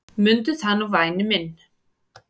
Mundu það nú væni minn.